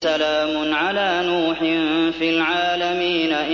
سَلَامٌ عَلَىٰ نُوحٍ فِي الْعَالَمِينَ